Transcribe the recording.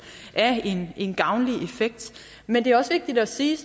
af en gavnlig effekt men det er også vigtigt at sige